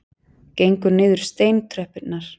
Gengur niður steintröppurnar.